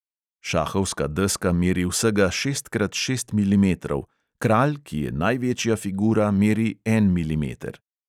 Šahovska deska meri vsega šest krat šest milimetrov, kralj, ki je največja figura, meri en milimeter.